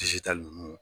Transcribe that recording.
ninnu